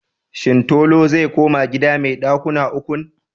Shin Tolu zai koma gida mai ɗakuna ukun?